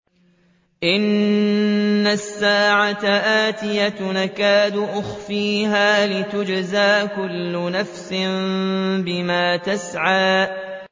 إِنَّ السَّاعَةَ آتِيَةٌ أَكَادُ أُخْفِيهَا لِتُجْزَىٰ كُلُّ نَفْسٍ بِمَا تَسْعَىٰ